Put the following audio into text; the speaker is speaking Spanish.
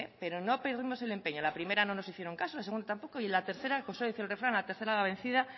pero no perdimos el empeño la primera no nos hicieron caso la segunda tampoco y la tercera como suele decir el refrán a la tercera va la vencida